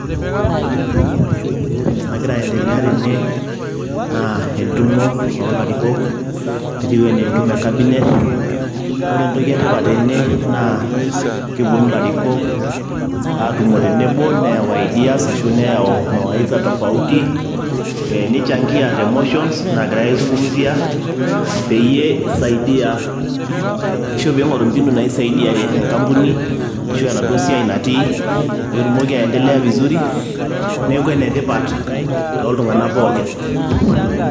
Ore entoki nagira aiendelea tene naa entumo olarikok etiu enaa entumo e cabinet, ore entoki e tipat tene naa keponu ilarikok atumo tenebo neyau ideas ashu neyau mawaidha tofauti, nichangia te motions nagirai aizungumzia, peyie isaidia ashu piing'oru mbinu peyie isaidia enkampuni ashu enaduoa siai natii peetumoki aindelea vizuri. Neeku ene tipat tooltung'anak pookin.